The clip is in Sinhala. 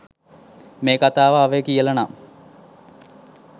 මේ කතාව ආවේ කියලා නම්.